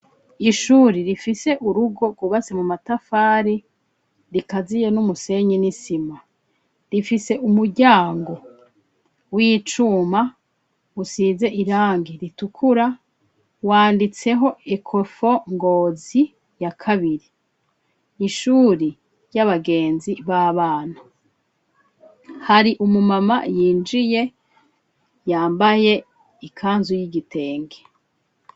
Ishuri rifise urugo rwubatse mu matafari rikaziye n'umusenyi n'isima, rifise umuryango w'icuma usize irangi ritukura wanditseho ekofo ngozi ya kabiri, ishuri ry'abagenzi b'abana hari umumama yinjiye yambaye ikanzu y'igitenge.